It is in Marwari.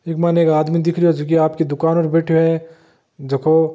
इके मायने एक आदमी दिख रियो है जक्यो आपकी दुकान पर बैठयो हैं झको--